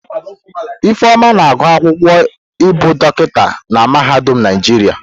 Ifeoma na-agụ akwụkwọ ibu dokita na mahadum Naijiria.